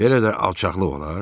Belə də alçaqlıq olar?